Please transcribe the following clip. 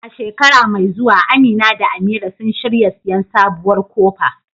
A shekara mai zuwa Amina da Amira sun shirya siyan sabuwar kofa